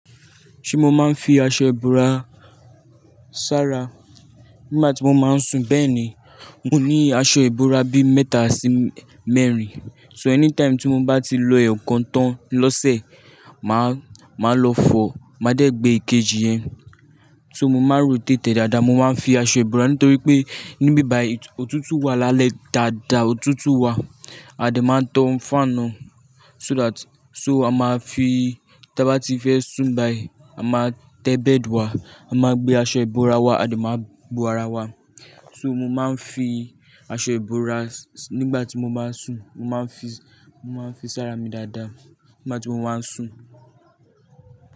Ṣé mo máa ń fi aṣọ ìbora sára nígbà tí mo máa ń sùn? Bẹ́ẹ̀ ni, mo ní aṣọ ìbora bí mẹ́ta sí mẹ́rin, so anytime tí mo bá ti lo ẹ̀yọ̀ kan tán lọ́sẹ̀, màá, màá lọ fọ, màá dẹ gbé èkejì yẹn. So mo máa ń r'ótètè dáadáa, mo máa ń fi aṣọ ìbora nítorí pé níbíbàyì ọ̀tútù wà lálẹ́ dáadáa, ọ̀tútù wà, a dẹ̀ máa ń tan fáànù so that-- so a máa fi tí a bá ti fẹ́ sùn báyìí, a máa tẹ bẹ́ẹ̀dì wa, a máa gbé aṣọ ìbora wa, a dẹ̀ máa bo ara wa. So mo máa ń fi aṣọ ìbora nígbà tí mo máa ń sùn, mo máa ń fi, mo máa ń fi sára mi dáadáa nígbà tí mo máa ń sùn.